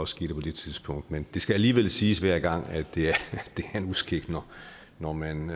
skete på det tidspunkt men det skal alligevel siges hver gang at det er en uskik når man